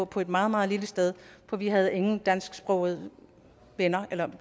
på et meget meget lille sted for vi havde ingen dansksprogede venner